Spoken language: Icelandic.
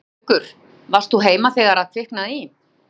Haukur: Varst þú heima þegar að kviknaði í?